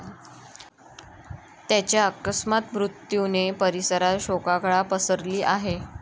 त्याच्या अकस्मात मृत्यूने परिसरात शोककळा पसरली आहे.